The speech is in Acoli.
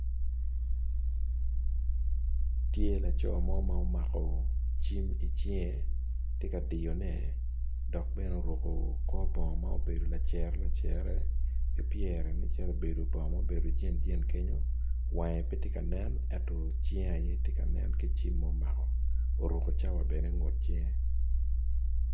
Tye laco mo ma omako cim idicinge tye ka diyo ne dok bene oruko kor bongo ma obedo lacere lacere kipyere ma obedo nen calo jin jin kenyo wange pe tye kanen enyo cinge aye tye ka nen ki cim ma omako oruko cawa bene ingut cinge.